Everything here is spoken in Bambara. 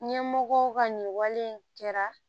Ɲɛmɔgɔw ka nin wale in kɛra